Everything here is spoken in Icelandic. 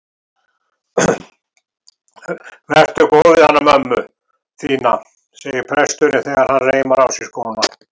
Vertu góð við hana mömmu þína, segir presturinn þegar hann reimar á sig skóna.